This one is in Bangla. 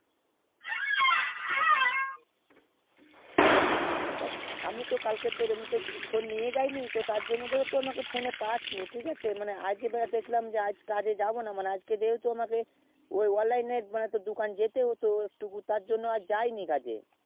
আমি তো তোর কালকে phone নিয়ে যায়নি টি তার জন্যই আমাকে তুই phone এ পাসনি মানে আজ কে কাজে যায়নি তাই ভাবলাম online দুকান যেতে হতো তার জন্য যায়নি আজ কাজে